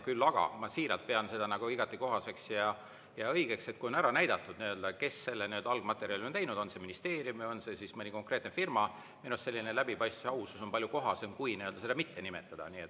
Küll aga ma siiralt pean seda igati kohaseks ja õigeks, et kui on ära näidatud, kes selle algmaterjali on teinud, on see ministeerium, on see mõni konkreetne firma, minu arust selline läbipaistvus ja ausus on palju kohasem, kui seda mitte nimetada.